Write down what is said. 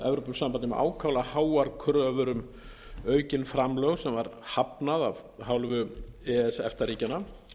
evrópusambandið með ákaflega háar kröfur um aukin framlög sem var hafnað f hálfu e e s efta ríkjanna